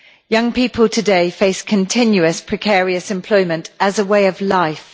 Young people today face continuous precarious employment as a way of life.